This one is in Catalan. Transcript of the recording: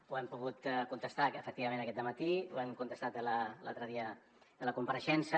ho hem pogut contestar efectivament aquest dematí ho vam contestar l’altre dia a la compareixença